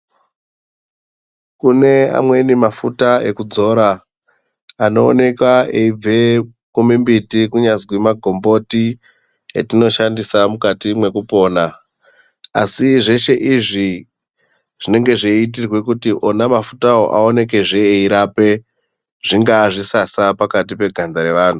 Kune amweni mafuta ekudzora anooneka eibva kumimbiti kunyazi magomboti atinoshandisa mukati mwekupona asi zveshe izvi zvinenge zveiitirwe Kuti ona mafutawo aonekwezve eirape zvinga zvisasa pakati peganda revanhu.